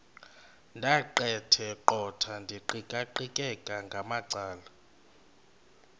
ndaqetheqotha ndiqikaqikeka ngamacala